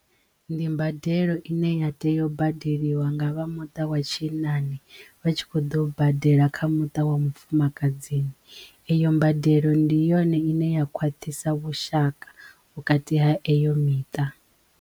Ndi mbadelo ine ya teyo u badeliwa nga vha muṱa wa tshinnani vha tshi kho ḓo badela kha muṱa wa mufumakadzi eyo mbadelo ndi yone ine ya khwaṱhisa vhushaka vhukati ha eyo miṱa.